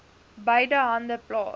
beide hande plaas